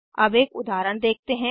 अब एक उदाहरण देखते हैं